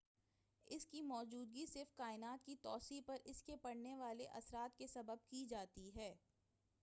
اس کی موجودگی صرف کائنات کی توسیع پر اس کے پڑنے والے اثرات کے سبب جانی جاتی ہے